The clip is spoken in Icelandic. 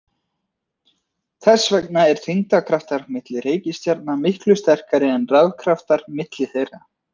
Þess vegna eru þyngdarkraftar milli reikistjarna miklu sterkari en rafkraftar milli þeirra.